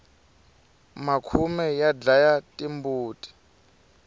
makhume ya dlaya timbuti